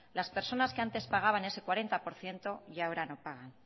las personas que antes pagaban ese cuarenta por ciento y ahora no pagan